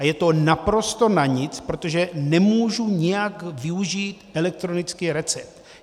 A je to naprosto na nic, protože nemůžu nijak využít elektronický recept.